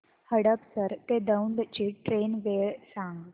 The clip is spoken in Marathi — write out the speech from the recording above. हडपसर ते दौंड ची ट्रेन वेळ सांग